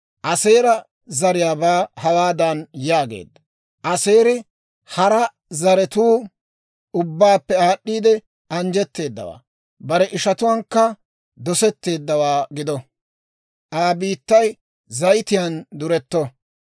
Aaseera zariyaabaa hawaadan yaageedda; «Aseeri hara zaratuu ubbaappe aad'd'iide anjjetteedawaa. Bare ishatuwaankka dosetteeddawaa gido. Aa biittay zayitiyaan duretto.